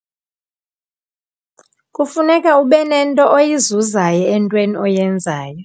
Kufuneka ube nento oyizuzayo entweni oyenzayo.